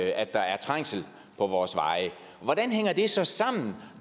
at der er trængsel på vores veje hvordan hænger det så sammen